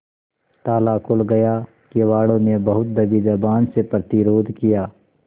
ताला खुल गया किवाड़ो ने बहुत दबी जबान से प्रतिरोध किया